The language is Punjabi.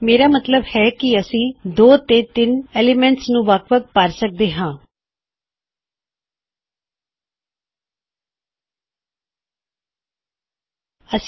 ਮੇਰਾ ਮੱਤਲਬ ਹੈ ਕੀ ਦਿਨ 1 ਈਕਵਲ ਹੈ ਅਤੇ ਦਿਨ 2 ਵੀ ਈਕਵਲ ਹੈ ਅਤੇ ਤੁਸੀਂ ਇਸਨੂੰ ਇਸ ਤਰ੍ਹਾ ਕਰ ਸਕਦੇ ਹੋਂ